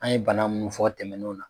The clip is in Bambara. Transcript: An ye bana munnu fɔ tɛmɛnenw na.